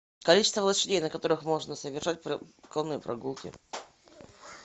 количество лошадей на которых можно совершать конные прогулки